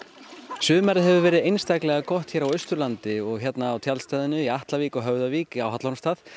sumarið hefur verið einstaklega gott hér á Austurlandi og hérna á tjaldstæðinu í Atlavík og Höfðavík á Hallormsstað